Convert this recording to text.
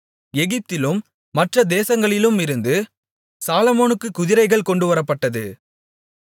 எகிப்திலும் மற்ற தேசங்களிலுமிருந்து சாலொமோனுக்குக் குதிரைகள் கொண்டுவரப்பட்டது